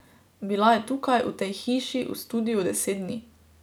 Bila je tukaj, v tej hiši v studiu deset dni.